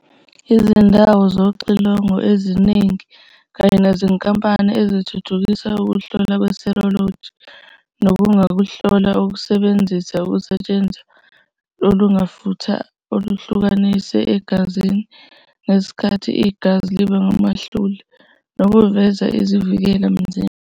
Izindawo zoxilongo eziningi kanye nezinkampani ezithuthukisa ukuhlola kwe-serology, nokungukuhlola okusebenzisa uketshezana olungamafutha oluhlukaniseka egazini ngesikhathi igazi liba ngamahlule, nokuveza izivikela mzimba.